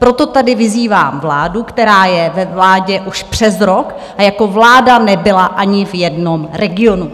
Proto tady vyzývám vládu, která je ve vládě už přes rok a jako vláda nebyla ani v jednom regionu.